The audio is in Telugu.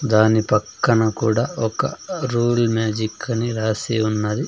దాని పక్కన కూడా ఒక రూల్ మ్యాజిక్ అన్ని రాసి ఉన్నది.